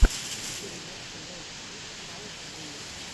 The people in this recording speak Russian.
передача бэст оф каэс гоу